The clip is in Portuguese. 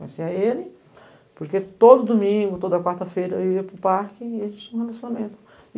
Conhecia ele, porque todo domingo, toda quarta-feira, eu ia para o parque e a gente tinha um relacionamento.